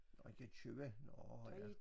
Nåh I kan købe nåh ja